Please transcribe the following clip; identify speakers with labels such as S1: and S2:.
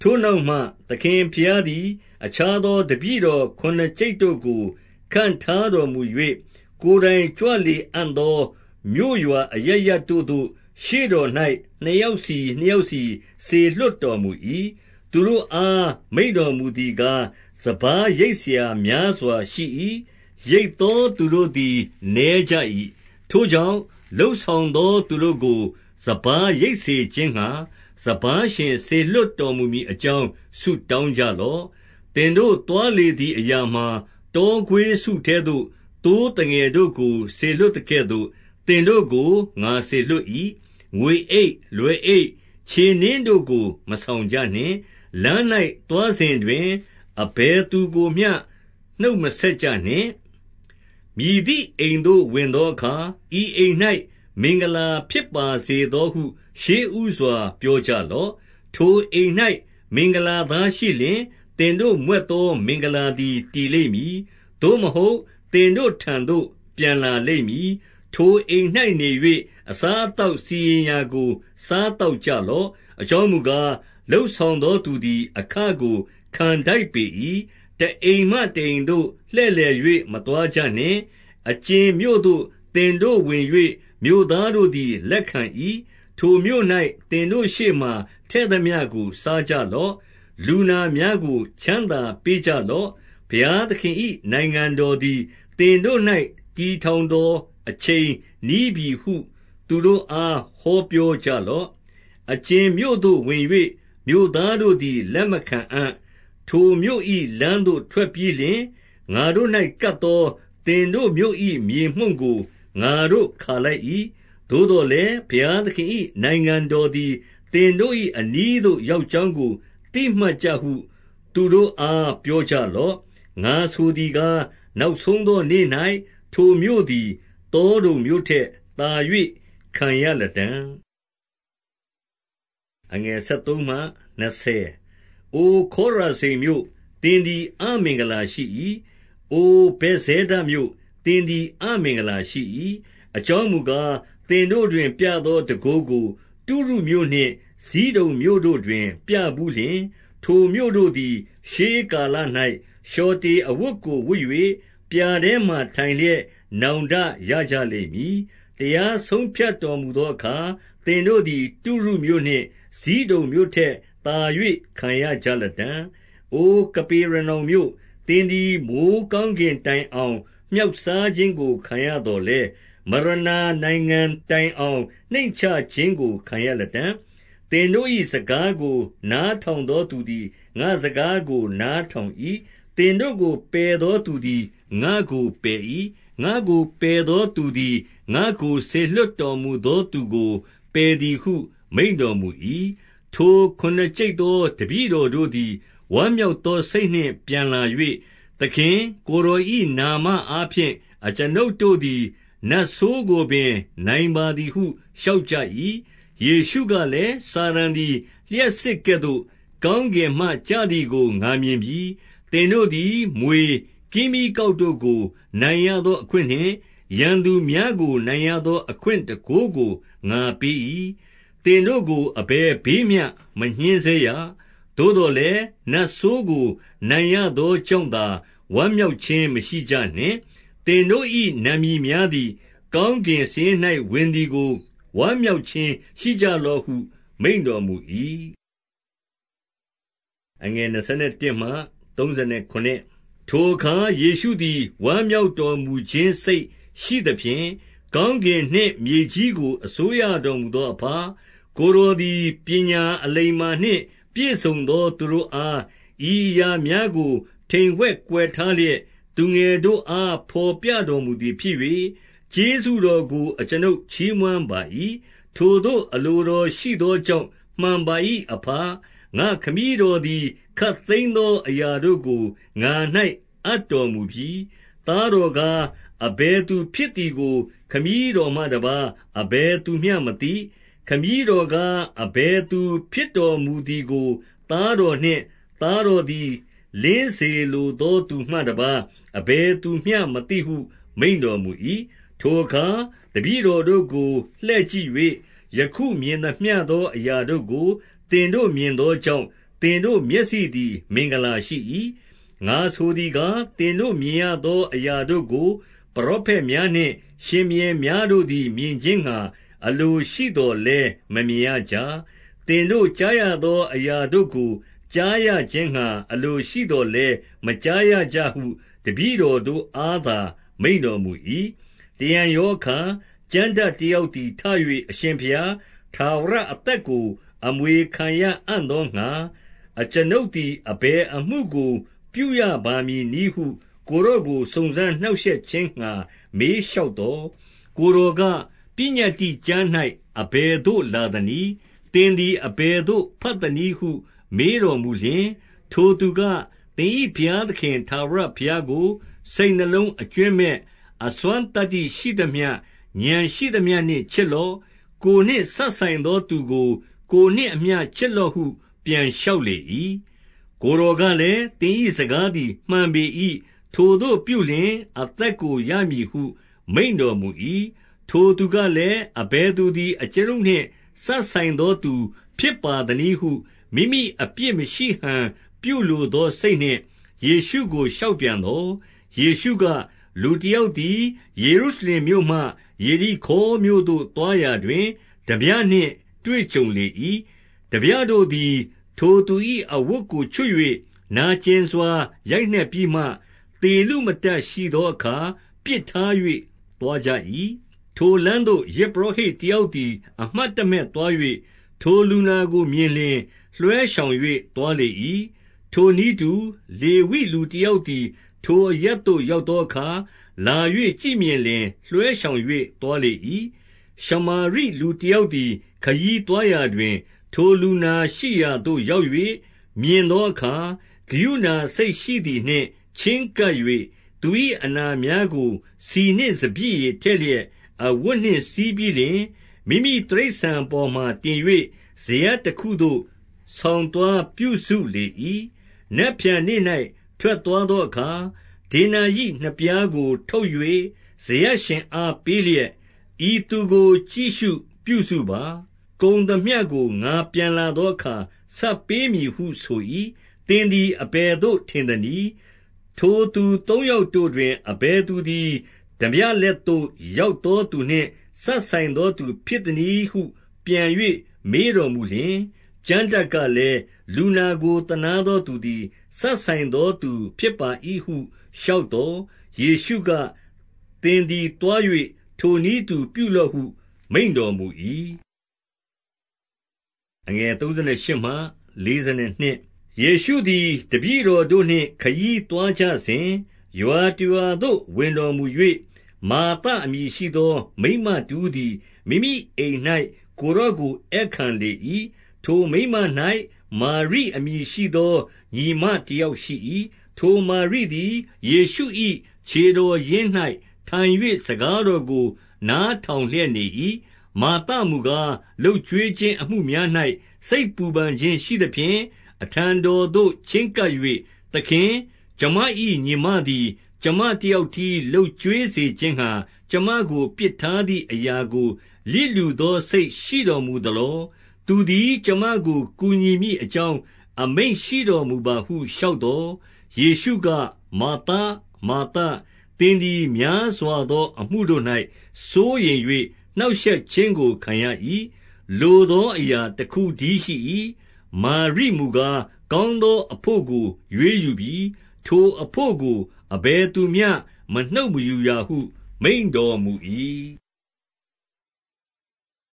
S1: ထိုနောက်မှ သခင်ဘုရားသည် အခြားသောတပည့်တော် ခုနစ်ကျိပ်တို့ကို ခန့်ထားတော်မူ၍၊ ကိုယ် တိုင်ကြွလေအံ့သော မြို့ရွာအရပ်ရပ်တို့သို့ ရှေ့တော်၌ နှစ်ယောက်စီ နှစ်ယောက်စီ စေလွှတ်တော်မူ၏။ 2 သူတို့အား မိန့်တော်မူသည်ကား၊ စပါးရိတ်စရာများစွာရှိ၏။ ရိတ်သောသူတို့သည်နည်းကြ၏။ ထို ကြောင့် လုပ်ဆောင်သောသူတို့ကို စပါးရိတ်စေခြင်းငှါ စပါးရှင် စေလွှတ်တော်မူမည်အကြောင်း ဆုတောင်း ကြလော့။ 3 သင်တို့သွားလေသည်အရာမှာ၊ တောခွေးစုထဲသို့ သိုးသငယ်တို့ကို စေလွှတ်သကဲ့သို့ သင်တို့ကို ငါစေ လွှတ်၏။ 4 ငွေအိတ်၊ လွယ်အိတ်၊ ခြေနင်းတို့ကို မဆောင်ကြနှင့်။ လမ်း၌သွားစဉ်တွင် အဘယ်သူကိုမျှ နှုတ်မ ဆက်ကြနှင့်။ 5 မည်သည့်အိမ်သို့ ဝင်သောအခါ၊ ဤအိမ်၌ မင်္ဂလာဖြစ်ပါစေသောဟု ရှေ့ဦးစွာပြောကြလော့။ 6 ထိုအိမ်၌မင်္ဂလာသားရှိလျှင်၊ သင်တို့မြွက်သော မင်္ဂလာသည်တည်လိမ့်မည်။ 7 သို့မဟုတ် သင်တို့ထံသို့ ပြန်လာလိမ့်မည်။ ထိုအိမ်နေ၍ အစားအသောက်စီရင်ရာကို စားသောက်ကြ လော့။ အကြောင်းမူကား၊ လုပ်ဆောင်သောသူသည် အခကိုခံထိုက်ပေ၏။ တအိမ်မှ တအိမ်သို့လှည့်လည်၍ မ သွားကြနှင့်။ 8 အကြင်မြို့သို့သင်တို့ဝင်၍ မြို့သားတို့သည်လက်ခံ၏။ ထိုမြို့၌သင်တို့ရှေ့မှာထည့်သမျှကို စားကြ လော့။ 9 လူနာများကို ချမ်းသာပေးကြလော့။ ဘုရားသခင်၏နိုင်ငံတော်သည် သင်တို့၌ တည်ထောင်သော အချိန်နီးပြီဟု သူတို့အား ဟောပြောကြလော့။ 10 အကြင်မြို့သို့ ဝင်၍မြို့သားတို့သည် လက်မခံအံ့၊ ထိုမြို့၏လမ်းသို့ ထွက်ပြီးလျှင်၊ ငါတို့၌ကပ်သော သင်တို့မြို့၏ မြေမှုန့်ကို ငါတို့ခါလိုက်၏။ 11 သို့သော်လည်း ဘုရားသခင်၏နိုင်ငံတော်သည် သင်တို့၏အနီးသို့ရောက်ကြောင်းကို သိမှတ်ကြဟု သူတို့အားပြောကြလော့။ 12 ငါဆိုသည်ကား၊ နောက်ဆုံးသောနေ့၌ ထိုမြို့သည် သောဒုံမြို့ထက်သာ၍ခံရလတံ့။ 13 အိုခေါရာဇိန်မြို့၊ သင်သည်အမင်္ဂလာရှိ၏။ အိုဇက်ဇဲဒမြို့၊ သင်သည်အမင်္ဂလာရှိ၏။ အကြောင်း မူကား၊ သင်တို့တွင် ပြေသောတန်ခိုးကို တုရုမြို့နှင့် ဇိဒုန်မြို့တို့တွင် ပြဘူးလျှင်၊ ထိုမြို့တို့သည် ရှေးကာလ၌ လျှော်တေအဝတ်ကိုဝတ်၍၊ ပြာထဲမှထိုင်လျက် နောင်တရကြလိမ့်မည်။ 14 တရားဆုံးဖြတ်တော်မူသောအခါ သင်တို့သည် တုရုမြို့နှင့် ဇိဒုန်မြို့ထက်သာ၍ ခံရကြလတံ့။ 15 အိုကပေရနောင်မြို့၊ သင်သည် မိုဃ်းကောင်းကင်တိုင်အောင် မြှောက်စားခြင်းကို ခံရသော်လည်း၊ မရဏနိုင်ငံတိုင်အောင် နှိမ့်ချခြင်းကို ခံရလတံ့။ 16 သင်တို့၏စကားကို နားထောင်သောသူသည် ငါ့စကားကို နားထောင်၏။ သင်တို့ကို ပယ်သောသူသည် ငါ့ကိုပယ်၏။ ငါ့ကိုပယ်သောသူသည် ငါ့ကို စေလွှတ်တော်မူသောသူကို ပယ်သည်ဟု မိန့်တော်မူ၏။ 17 ထိုခုနစ်ကျိပ်သော တပည့်တော်တို့သည် ဝမ်းမြောက်သောစိတ်နှင့် ပြန်လာ၍၊ သခင်၊ ကိုယ်တော်၏ နာမအားဖြင့် အကျွန်ုပ်တို့သည် နတ်ဆိုးကိုပင် နိုင်ပါသည်ဟု လျှောက်ကြ၏။ 18 ယေရှုကလည်း၊ စာတန်သည် လျှပ်စစ်ကဲ့သို့ ကောင်းကင်မှကျသည်ကို ငါမြင်ပြီ။ 19 သင်တို့သည် မြွေ၊ ကင်းမြီးကောက်တို့ကို နိုင်ရသောအခွင့်နှင့် ရန်သူများကိုနိုင်ရသော အခွင့်တန်ခိုးကို ငါပေး၏။ သင်တို့ကို အဘယ်ဘေးမျှ မညှဉ်းဆဲရ။ 20 သို့သော်လည်း နတ်ဆိုးကို နိုင်ရသောကြောင့်သာ ဝမ်းမြောက်ခြင်းမရှိကြနှင့်၊ သင်တို့၏ နာမည်များ သည် ကောင်းကင်စာရင်း၌ ဝင်သည်ကို ဝမ်းမြောက်ခြင်း ရှိကြလော့ဟု မိန့်တော်မူ၏။ 21 ထိုအခါယေရှုသည် ဝမ်းမြောက်တော်မူခြင်း စိတ်ရှိသဖြင့်၊ ကောင်းကင်နှင့်မြေကြီးကို အစိုးရတော်မူ သောအဘ၊ ကိုယ်တော်သည် ပညာအလိမ္မာနှင့် ပြည့်စုံသောသူတို့အား ဤအရာများကို ထိမ်ဝှက်ကွယ်ထား လျက် သူငယ်တို့အားဘော်ပြတော်မူသည်ဖြစ်၍၊ ကျေးဇူးတော်ကို အကျွန်ုပ်ချီးမွမ်းပါ၏။ ထိုသို့အလိုတော် ရှိသောကြောင့် မှန်ပါ၏။ အဘ။ 22 ငါ့ခမည်းတော်သည် ခပ်သိမ်းသောအရာတို့ကို ငါ၌အပ်တော်မူပြီ။ သားတော်ကား အဘယ်သူဖြစ် သည်ကို ခမည်းတော်မှတပါးအဘယ်သူမျှမသိ။ ခမည်းတော်ကားအဘယ်သူဖြစ်တော်မူသည်ကို၊ သားတော်နှင့် သားတော်သည် လင်းစေလိုသောသူမှတပါး အဘယ်သူမျှ မသိဟု မိန့်တော်မူ၏။ 23 ထိုအခါတပည့်တော်တို့ကိုလှည့်ကြည့်၍၊ ယခုမြင်သမျှသောအရာတို့ကို သင်တို့မြင်သောကြောင့် သင် တို့မျက်စိသည် မင်္ဂလာရှိ၏။ 24 ငါဆိုသည်ကား၊ သင်တို့မြင်ရသောအရာတို့ကို ပရောဖက်များနှင့် ရှင်ဘုရင်များတို့သည် မြင်ခြင်းငှါ အလိုရှိသော်လည်း မမြင်ရကြ။ သင်တို့ ကြားရသောအရာတို့ကို ကြားခြင်းငှါ အလိုရှိသော်လည်း မကြားရကြ ဟု တပည့်တော်တို့အားသာ မိန့်တော်မူ၏။ 25 တရံရောအခါ ကျမ်းတတ်တယောက်သည်ထ၍၊ အရှင်ဘုရား၊ ထာဝရအသက်ကို အမွေခံရအံ့သောငှါ အကျွန်ုပ်သည် အဘယ်အမှုကို ပြုရပါမည်နည်းဟု ကိုယ်တော်ကို စုံစမ်းနှောင့်ရှက်ခြင်းငှါ မေးလျှောက်သော်၊ 26 ကိုယ်တော်က၊ ပညတ္တိကျမ်း၌ အဘယ်သို့လာသနည်း။ သင်သည်အဘယ်သို့ ဘတ်သနည်းဟု မေး တော်မူလျှင်၊ 27 ထိုသူက၊ သင်၏ဘုရားသခင် ထာဝရဘုရားကို စိတ်နှလုံးအကြွင်းမဲ့၊ အစွမ်းသတ္တိရှိသမျှ၊ ဥာဏ်ရှိ သမျှနှင့် ချစ်လော့။ ကိုယ်နှင့်စပ်ဆိုင်သောသူကို ကိုယ်နှင့်အမျှ ချစ်လော့ဟု ပြန်လျှောက်လေ၏။ 28 ကိုယ်တော်ကလည်၊ သင်၏စကားသည် မှန်ပေ၏။ ထိုသို့ပြုလျှင် အသက်ကိုရမည်ဟု မိန့်တော်မူ၏။ 29 ထိုသူကလည်၊ အဘယ်သူသည် အကျွန်ုပ်နှင့် စပ်ဆိုင်သောသူဖြစ်ပါသနည်းဟု မိမိအပြစ်မရှိဟန် လိုသောစိတ်နှင့် ယေရှုကိုလျှောက်ပြန်သော်။ 30 ယေရှုက၊ လူတယောက်သည် ယေရုရှလင်မြို့မှ ယေရိခေါမြို့သို့သွားရာတွင် ထားပြနှင့်တွေ့ကြုံလေ ၏။ ထားပြတို့သည် ထိုသူ၏အဝတ်ကိုချွတ်၍ နာကျင်စွာ ရိုက်နက်ပြီးမှ သေလုမတတ်ရှိသောအခါ ပစ်ထား၍ သွားကြ၏။ 31 ထိုလမ်းသို့ ယဇ်ပုရောဟိတ်တယောက်သည် အမှတ်တမဲ့သွား၍ ထိုလူနာကိုမြင်လျှင် လွှဲရှောင်၍ သွား လေ၏။ 32 ထိုနည်းတူ လေဝိလူတယောက်သည် ထိုအရပ်သို့ရောက်သောအခါ၊ လာ၍ကြည့်မြင်လျှင် လွဲရှောင်၍ သွားလေ၏။ 33 ရှမာရိ လူတယောက်သည် ခရီးသွားရာတွင် ထိုလူနာရှိရာသို့ရောက်၍ မြင်သောအခါ၊ ကရုဏာစိတ် ရှိသည်နှင့်၊ 34 ချဉ်းကပ်၍ သူ၏အနာများကို ဆီနှင့်စပျစ်ရည်ထည့်လျက် အဝတ်နှင့်စည်းပြီးလျှင်၊ မိမိတိရစ္ဆာန် ပေါ်မှာ တင်၍ စရပ်တခုသို့ ဆောင်သွားပြုစုလေ၏။ 35 နက်ဖြန်နေ့၌ ထွက်သွားသောအခါ၊ ဒေနာရိနှစ်ပြားကိုထုတ်၍ စရပ်ရှင်အား ပေးလျက်၊ ဤသူကို ကြည့်ရှုပြုစုပါ။ ကုန်သမျှကိုငါပြန်လာသောအခါ ဆပ်ပေးမည်ဟုဆို၏။ သင်သည်အဘယ်သို့ထင်သနည်း။ 36 ထိုသူသုံးယောက်တို့တွင် အဘယ်သူသည် ထားပြလက်သို့ရောက်သောသူနှင့် စပ်ဆိုင်သောသူဖြစ် သနည်းဟု ပြန်၍မေးတော်မူလျှင်၊ 37 ကျမ်းတတ်ကလည်၊ လူနာကိုသနားသောသူသည် စပ်ဆိုင်သောသူဖြစ်ပါ၏ဟုလျှောက်သော် ယေရှု က၊ သင်သည်သွား၍ ထိုနည်းတူပြုလော့ဟု မိန့်တော်မူ၏။ 38 ယေရှုသည် တပည့်တော်တို့နှင့် ခရီးသွားကြစဉ် ရွာတရွာသို့ဝင်သော်၊ မာသအမည်ရှိသော မိန်းမတဦး သည် မိမိအိမ်၌ ကိုယ်တော်ကိုဧည့်ခံလေ၏။ 39 ထိုမိန်းမ၌ မာရိအမည်ရှိသော ညီမတယောက်ရှိ၏။ ထိုမာရိသည် ယေရှု၏ခြေတော်ရင်း၌ ထိုင်၍ စကားတော်ကို နားထောင်လျက်နေ၏။ 40 မာသမူကား၊ လုပ်ကျွေးခြင်းအမှုများ၌ စိတ်ပူပန်ခြင်းရှိသဖြင့် အထံတော်သို့ချဉ်းကပ်၍၊ သခင်၊ အကျွန်မ၏ညီမသည်၊ ကျွန်မတယောက်တည်း လုပ်ကျွေးစေခြင်းငှါ ကျွန်မပစ်ထားသည်အရာကို လျစ်လျူသော စိတ်ရှိတော်မူသလော။ သူသည် ကျွန်မကို ကူညီမည့်အကြောင်း အမိန့်တော်မူပါဟု လျှောက်သော်၊ 41 ယေရှုက၊ မာသ၊ မာသ၊ သင်သည် များစွာသောအမှုတို့၌ စိုးရိမ်၍နှောင့်ရှက်ခြင်းကို ခံရ၏။ လိုသော အရာတခုတည်းရှိ၏။ 42 မာရိမူကား၊ ကောင်းသောအဘို့ကို ရွေးယူပြီ။ ထိုအဘို့ကို အဘယ်သူမျှ မနှုတ်မယူရာဟု မိန့်တော်မူ ၏။